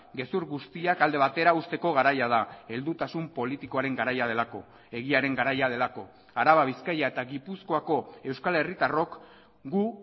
gezur guztiak alde batera uzteko garaia da heldutasun politikoaren garaia delako egiaren garaia delako araba bizkaia eta gipuzkoako euskal herritarrok gu